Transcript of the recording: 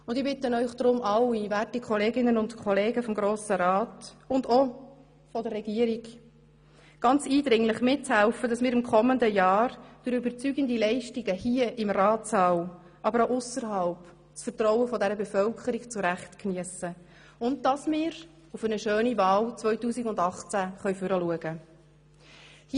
Und ich bitte deshalb Sie alle, werte Kolleginnen und Kollegen des Grossen Rats und auch der Regierung, ganz eindringlich: Helfen Sie mit, dass wir im kommenden Jahr durch überzeugende Leistungen hier im Ratssaal, aber auch ausserhalb, das Vertrauen der Bevölkerung zu Recht geniessen und dass wir auf eine schöne Wahl 2018 vorausschauen können.